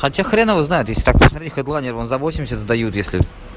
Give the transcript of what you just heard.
хотя хрен его знает если так посмотреть хэдлайнер вон за восемьдесят сдают если